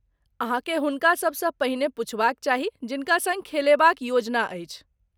अहाँके हुनका सभसँ पहिने पुछबाक चाही जिनका सँग खेलेबा क योजना अछि।